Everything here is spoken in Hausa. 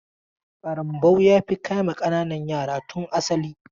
ƙarambau ya fi kama ƙananan yara tun asali.